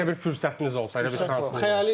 Elə bir fürsətiniz olsa, elə bir şansınız olsa.